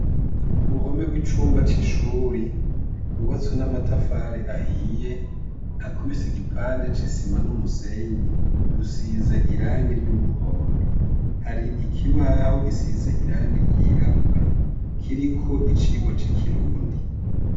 Ku ruhome rw'icumba c'ishuri, rwubatswe n'amatafari ahiye, hakubise igipande c'isima n'umusenyi, rusize irangi ry'umuhondo. Hari ikibaho gisize irangi ryirabura, kiriko icigwa c'ikirundi.